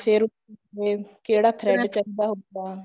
ਫ਼ੇਰ ਅਮ ਕਿਹੜਾ thread ਚਾਹੀਦਾ ਹੁੰਦਾ ਹੈ